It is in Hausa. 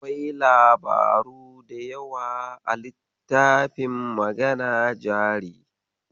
Akwai labaru da yawa a littafin Magana jari.